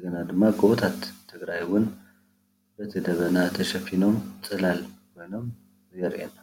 ኸምኡ እውን ጉቦታት ትግራይ በቲ ደመና ተሸፊኖም ፅላል ኮይኖም የርእየና።